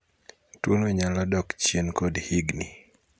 Tuono nyalo dok chien kod higni